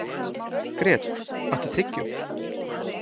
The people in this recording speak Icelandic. Grét, áttu tyggjó?